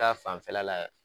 Ta fanfɛla la